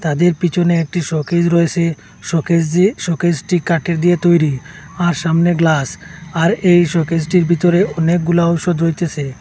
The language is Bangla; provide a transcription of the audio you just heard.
তাদের পিছনে একটি শোকেস রয়েছে শোকেস দিয়ে শোকেসটি কাঠের দিয়ে তৈরি আর সামনে গ্লাস আর এই শোকেসটির ভিতরে অনেকগুলা ঔষধ রইতেছে।